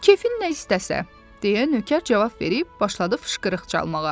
"Kefin nə istəsə" deyə Nökər cavab verib başladı fışqırıq çalmağa.